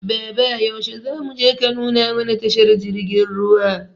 Baba yaushe zamuje ka nuna mana tashar jirgin ruwa?